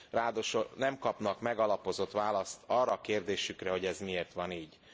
Ráadásul nem kapnak megalapozott választ arra a kérdésükre, hogy ez miért van így.